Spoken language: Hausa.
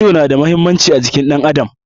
Ido na da muhimmanci a jikin ɗan adam.